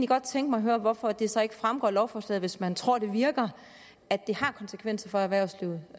godt tænke mig at høre hvorfor det så ikke fremgår af lovforslaget hvis man tror det virker at det har konsekvenser for erhvervslivet